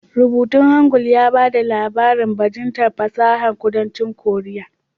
Rubutun Hangul ya ba da labarin bajintar fasahar kudancin korea